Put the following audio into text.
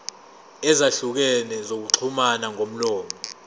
ezahlukene zokuxhumana ngomlomo